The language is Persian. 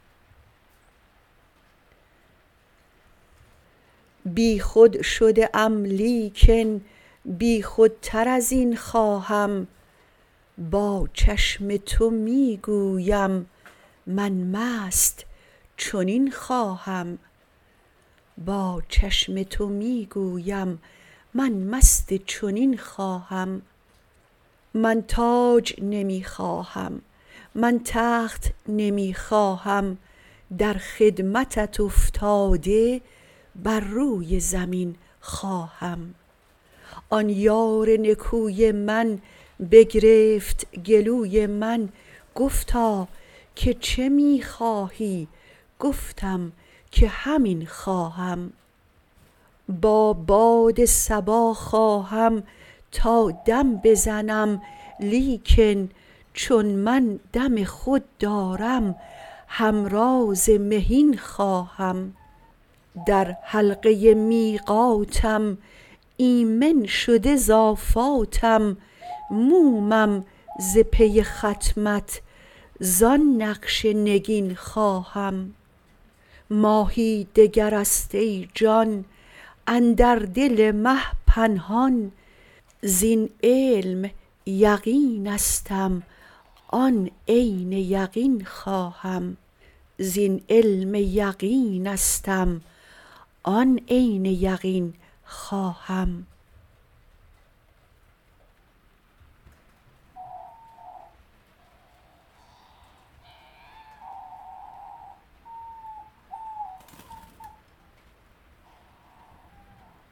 بیخود شده ام لیکن بیخودتر از این خواهم با چشم تو می گویم من مست چنین خواهم من تاج نمی خواهم من تخت نمی خواهم در خدمتت افتاده بر روی زمین خواهم آن یار نکوی من بگرفت گلوی من گفتا که چه می خواهی گفتم که همین خواهم با باد صبا خواهم تا دم بزنم لیکن چون من دم خود دارم همراز مهین خواهم در حلقه میقاتم ایمن شده ز آفاتم مومم ز پی ختمت زان نقش نگین خواهم ماهی دگر است ای جان اندر دل مه پنهان زین علم یقینستم آن عین یقین خواهم